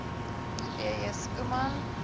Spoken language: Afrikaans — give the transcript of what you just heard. p j schoeman